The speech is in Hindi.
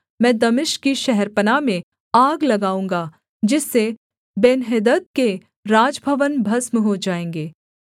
मैं दमिश्क की शहरपनाह में आग लगाऊँगा जिससे बेन्हदद के राजभवन भस्म हो जाएँगे